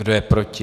Kdo je proti?